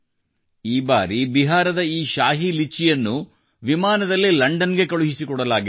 ಈ ಬಾರಿ ಬಿಹಾರದ ಈ ಶಾಹಿ ಲಿಚಿಯನ್ನು ಕೂಡಾ ವಿಮಾನದಲ್ಲಿ ಲಂಡನ್ಗೆ ಕಳುಹಿಸಿಕೊಡಲಾಗಿದೆ